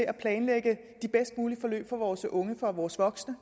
at planlægge de bedst mulige forløb for vores unge og for vores voksne